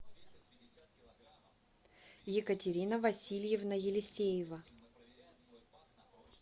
екатерина васильевна елисеева